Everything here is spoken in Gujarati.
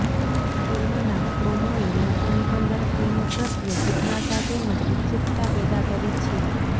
ફિલ્મના પ્રોમોએ લોકોની અંદર ફિલ્મ પ્રત્યે જિજ્ઞાસા તેમજ ઉત્સુકતા પેદા કરી છી